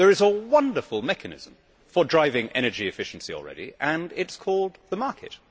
There is a wonderful mechanism for driving energy efficiency already and it is called the market.